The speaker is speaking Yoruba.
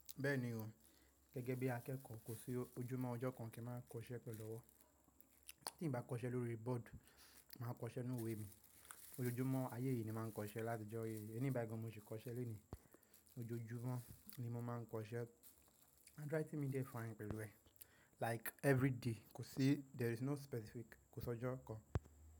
Bẹ́ẹ̀ni o, gẹ́gẹ́ bí akẹ́kọ̀ọ́ kò sí ojúmọ́ ọjọ́ kan kí ń máa kọṣẹ́ pẹ̀lú ọwọ́. Tí n bá kọṣẹ́ lórí board, màá kọṣẹ́ nínú ìwé mi. Ojojúmọ́ ayé yìí ni màá ń kọṣẹ́ láti ìjọ yìí, ẹni báyi gan mo sì kọṣẹ́ lónìí. Ojojúmọ́ ni mo máa ń kọṣẹ́ handwriting mi de fine pẹ̀lú ẹ̀, like every day kò sí there is no specific kò sọ ọjọ́ kan.